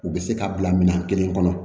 U bɛ se ka bila minɛn kelen kɔnɔ